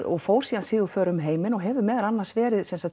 og fór síðan sigurför um heiminn hefur verið meðal annars verið